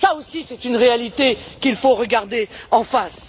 Cela aussi, c'est une réalité qu'il faut regarder en face.